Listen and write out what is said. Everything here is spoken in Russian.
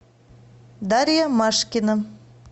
дарья машкина